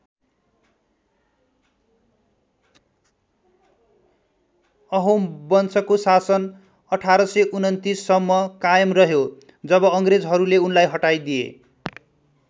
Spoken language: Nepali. अहोम वंशको शासन १८२९ सम्म कायम रह्यो जब अङ्ग्रेजहरूले उनलाई हराइदिए।